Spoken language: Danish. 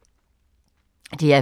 DR P2